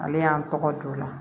Ale y'an tɔgɔ d'u la